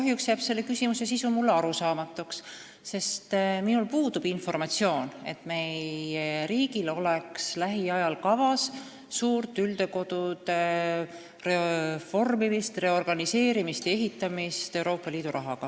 Kahjuks aga jääb selle sisu mulle arusaamatuks, sest minul puudub informatsioon, et meie riigil oleks lähiajal kavas suur üldhooldekodude reformimine, reorganiseerimine ja ehitamine Euroopa Liidu rahaga.